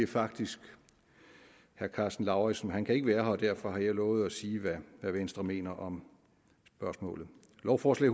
faktisk herre karsten lauritzen men han kan ikke være her og derfor har jeg lovet at sige hvad venstre mener om spørgsmålet lovforslag